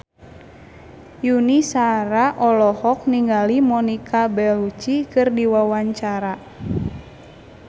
Yuni Shara olohok ningali Monica Belluci keur diwawancara